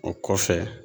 O kɔfɛ